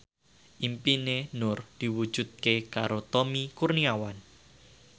impine Nur diwujudke karo Tommy Kurniawan